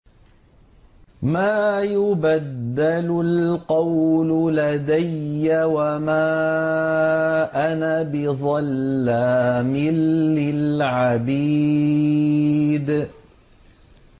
مَا يُبَدَّلُ الْقَوْلُ لَدَيَّ وَمَا أَنَا بِظَلَّامٍ لِّلْعَبِيدِ